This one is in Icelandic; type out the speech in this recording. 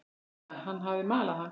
Gutta, hann hafði malað hann.